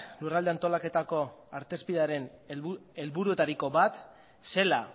lurralde antolaketako artezpidearen helburuetariko bat zela